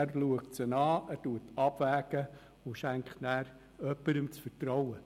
Er schaut sie sich an, wägt ab und schenkt jemandem das Vertrauen.